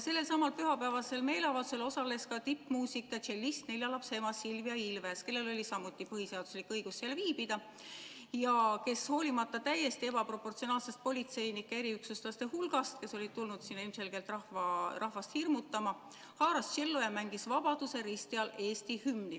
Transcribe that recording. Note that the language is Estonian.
Sellelsamal pühapäevasel meeleavaldusel osales ka tippmuusik ja tšellist, nelja lapse ema Silvia Ilves, kellel oli samuti põhiseaduslik õigus seal viibida ja kes hoolimata täiesti ebaproportsionaalsest politseinike, eriüksuslaste hulgast, kes olid tulnud sinna ilmselgelt rahvast hirmutama, haaras tšello ja mängis vabadussõja risti all Eesti hümni.